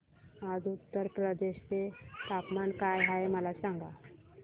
आज उत्तर प्रदेश चे तापमान काय आहे मला सांगा